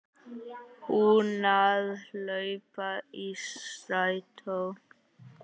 Hún að hlaupa í strætó.